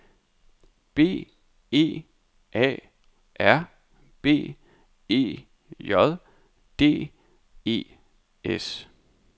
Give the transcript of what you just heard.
B E A R B E J D E S